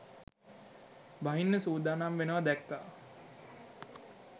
බහින්න සූදානම් වෙනවා දැක්‌කා.